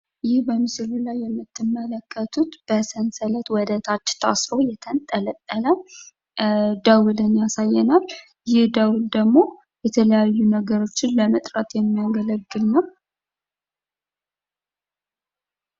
ይህ በምስሉ ላይ የምትመለከቱት በሰንሰለት ወደ ታች ታስሮ የተንጠለጠለ ደዉልን ያሳየናል. ይህ ደዉል ደግሞ የተለያየ ነገሮችን ለመጠራት የሚያገለግል ነው